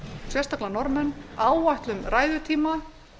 sérstaklega hjá norðmönnum að við áætlum ræðutíma